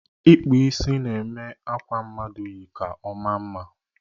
Ịkpụ isi na-eme akwa mmadụ yi ka ọ maa mma